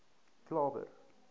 klawer